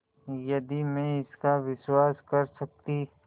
यदि मैं इसका विश्वास कर सकती